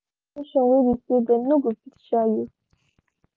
dem choose location whey be say them no go fit shayo